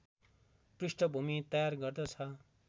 पृष्ठभूमि तयार गर्दछ